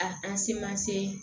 A an se ma se